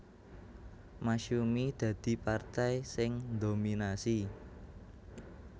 Masyumi dadi partai sing ndominasi